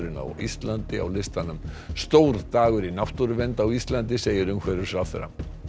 á Íslandi á listanum stór dagur í náttúruvernd á Íslandi segir umhverfisráðherra